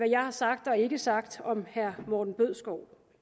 jeg har sagt og ikke sagt om herre morten bødskov